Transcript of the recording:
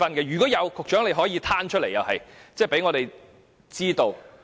如有，局長也可公開有關資料，讓我們知道。